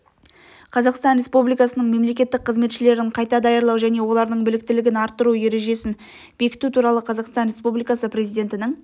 қазақстан республикасының мемлекеттік қызметшілерін қайта даярлау және олардың біліктілігін арттыру ережесін бекіту туралы қазақстан республикасы президентінің